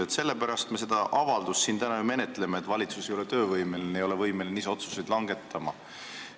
Me ju menetleme täna siin seda avaldust sellepärast, et valitsus ei ole töövõimeline, ei ole võimeline ise otsuseid langetama.